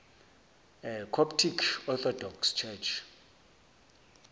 coptic orthodox church